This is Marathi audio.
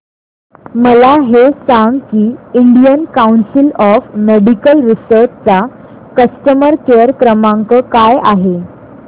मला हे सांग की Indian council of medical research चा कस्टमर केअर क्रमांक काय आहे